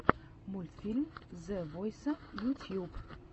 мультфильм зе войса ютьюб